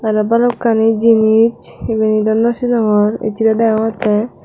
aro bhalokkani jinich ibenidw no sinongor achi the degongotte.